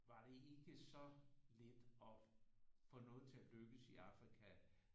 Var det ikke så let at få noget til at lykkes i Afrika